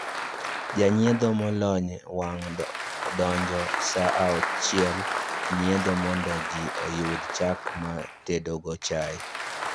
Janyiedho molony wang' donjo saa achiel nyiedho mondo ji oyud chak ma tedo go chai